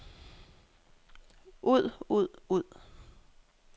ud ud ud